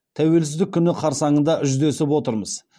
тәуелсіздік күні қарсаңында жүздесіп отырмыз